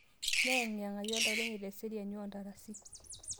Meyeng'iyeng'ayu oltau lenye te seriani oo ntarasi